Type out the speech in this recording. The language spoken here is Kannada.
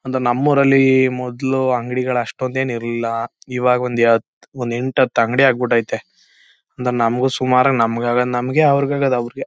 ಒಂದು ನಮ್ಮೂರಲ್ಲಿ ಮೊದಲು ಅಂಗಡಿಗಳು ಅಷ್ಟೊಂದೇನೂ ಇರಲಿಲ್ಲ. ಇವಾಗ ಒಂದು ಒಂದು ಎಂಟು ಹತ್ತು ಅಂಗಡಿ ಆಗಿಬಿಟ್ಟೈತೆ . ನಮಗೂ ಸುಮಾರಾಗಿ ನಮಗಾಗೋದು ನಮಗೆ ಅವರಿಗಾಗೋದು ಅವರಿಗೆ.